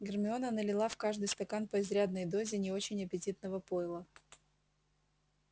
гермиона налила в каждый стакан по изрядной дозе не очень аппетитного пойла